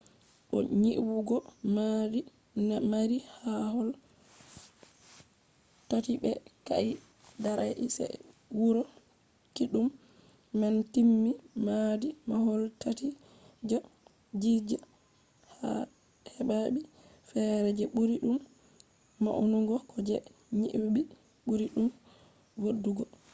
bo nyibugo maadi mari mahol tati be ka’e darai se de wuro kiddum man timmi maadi mahol tati je giza hebai fere je buri dum maunugo ko je nyibi buri dum vodugo